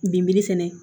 Binbiri fɛnɛ